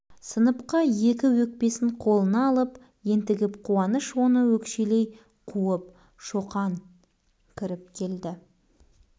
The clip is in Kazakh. бәрі ойыннан басталды үлкен үзіліс бітіп балалар орындарына отырып жатқан шоқан баспалдақтан жүгіріп көтеріліп барады екен